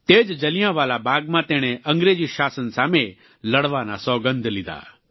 તે જ જલિયાંવાલા બાગમાં તેણે અંગ્રેજી શાસન સામે લડવાના સોગંધ લીધા